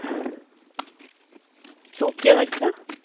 શું કયો છો?